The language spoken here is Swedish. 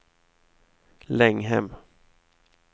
Länghem